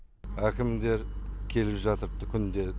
әкімдер келіп жатыр күнде